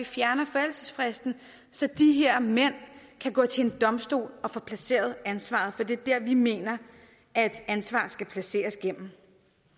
fjerner forældelsesfristen så de her mænd kan gå til en domstol og få placeret ansvaret for det er vi mener at ansvar skal placeres kan